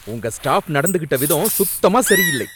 உங்க ஸ்டாஃப் நடந்துகிட்ட விதம் சுத்தமா சரியில்லை.